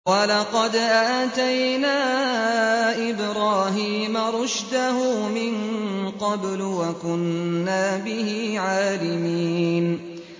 ۞ وَلَقَدْ آتَيْنَا إِبْرَاهِيمَ رُشْدَهُ مِن قَبْلُ وَكُنَّا بِهِ عَالِمِينَ